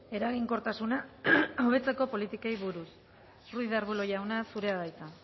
eraginkortasuna hobetzeko politikei buruz ruiz de arbulo jauna zurea da hitza